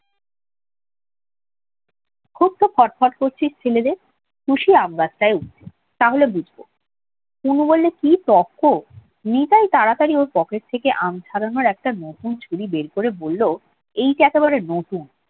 এত ফটফট করছিস কেন রে কুশি আম গাছটাই ওঠ তাহলে বুঝবো অনু বললেই কি তর্ক নিতাই ওর পকেট থেকে আম ছাড়ানোর একটা ছুরি বের করে বললে এইটা একেবারে নতুন